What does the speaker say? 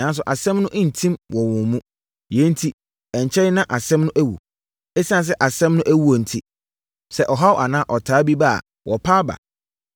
Nanso, asɛm no ntim wɔ wɔn mu. Yei enti, ɛnkyɛre na asɛm no awu. Esiane sɛ asɛm no awuo enti, sɛ ɔhaw anaa ɔtaa bi ba a, wɔpa aba.